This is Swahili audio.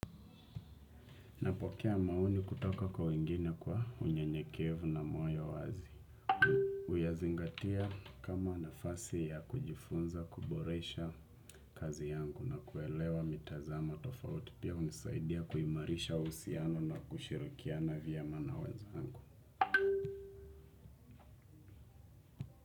Napokea maono kutoka kwa wengine kwa unyenyekevu na moyo wazi. Uyazingatia kama nafasi ya kujifunza, kuboresha kazi yangu na kuelewa mitazamo tofauti. Pia unisaidia kuimarisha uhusiano na kushirikiana vyema na wenzangu.